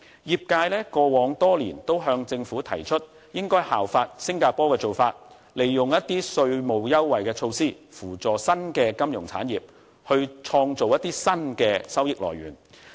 業界過往多年也向政府提議應該效法新加坡的做法，利用稅務優惠的措施來扶助新的金融產業，以創造新的收益來源。